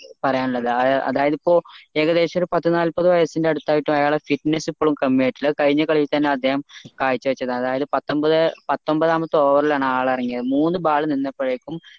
പറയാൻ ഉള്ളത് അതായത് ഇപ്പൊ ഏകദേശം പത്ത് നാല്പത് വയസ്സിന്റെ അടുത്ത ആയിട്ടും അയാളെ fitness ഇപ്പോളും കമ്മീ ആയിട്ടാണുള്ളത് അത് കഴിഞ്ഞ കളിയിൽ തന്നെ അദ്ദേഹം കാഴ്ച്ച വെച്ചത് അതായത് പത്തൊമ്പത് പത്തൊമ്പതാമത്തെ over ലാണ് ആൾ എറങ്ങിയത് മൂന്ന് ball നിന്നപ്പോളേക്കും